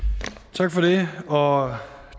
tak for det og